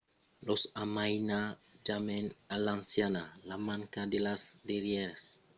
los amainatjaments a l'anciana la manca de las darrièras comoditats e una certa vielhesa graciosa fan tanben partida de son caractèr